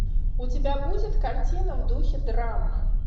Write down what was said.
у тебя будет картина в духе драмы